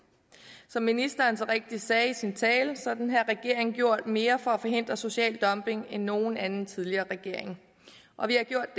som ministeren så rigtigt sagde i sin tale har denne regering gjort mere for at forhindre social dumping end nogen anden tidligere regering og vi har gjort